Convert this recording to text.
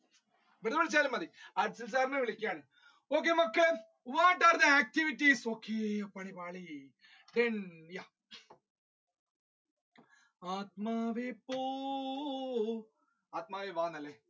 okay നമ്മുക്ക് what are the activities, okay